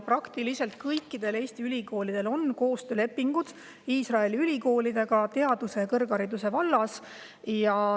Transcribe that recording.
Praktiliselt kõikidel Eesti ülikoolidel on koostöölepingud Iisraeli ülikoolidega teaduse ja kõrghariduse vallas.